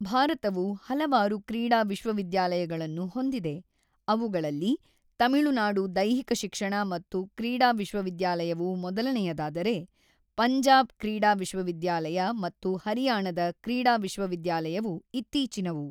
ಭಾರತವು ಹಲವಾರು ಕ್ರೀಡಾ ವಿಶ್ವವಿದ್ಯಾಲಯಗಳನ್ನು ಹೊಂದಿದೆ, ಅವುಗಳಲ್ಲಿ ತಮಿಳುನಾಡು ದೈಹಿಕ ಶಿಕ್ಷಣ ಮತ್ತು ಕ್ರೀಡಾ ವಿಶ್ವವಿದ್ಯಾಲಯವು ಮೊದಲನೆಯದಾದರೆ, ಪಂಜಾಬ್ ಕ್ರೀಡಾ ವಿಶ್ವವಿದ್ಯಾಲಯ ಮತ್ತು ಹರಿಯಾಣದ ಕ್ರೀಡಾ ವಿಶ್ವವಿದ್ಯಾಲಯಗಳು ಇತ್ತೀಚಿನವು.